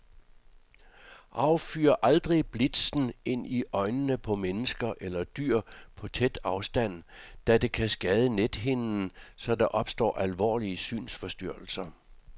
Affyr aldrig blitzen ind i øjnene på mennesker eller dyr på tæt afstand, da det kan skade nethinden, så der opstår alvorlige synsforstyrrelser.